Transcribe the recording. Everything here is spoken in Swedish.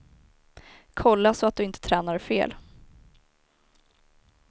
Kolla så att du inte tränar fel.